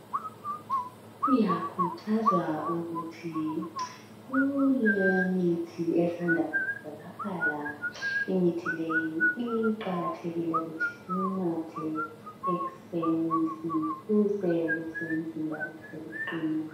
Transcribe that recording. uyakhuthwazwa ukuthi kulemithi esanda kutholakala imithi leyi kuqakathekile ukuthi siyinathe ekuseni ukuze imizimba yethu i qine.